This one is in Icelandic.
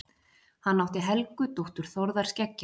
Hann átti Helgu dóttur Þórðar skeggja.